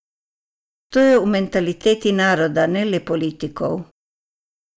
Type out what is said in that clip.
To je v mentaliteti naroda, ne le politikov.